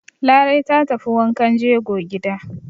Larai ta tafi wankan jego gida.